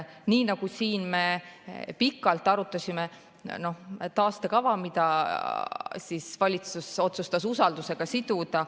Me siin pikalt arutasime taastekava, mille valitsus otsustas usaldushääletusega siduda.